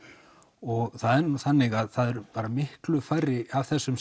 og það er þannig að það eru miklu færri af þessum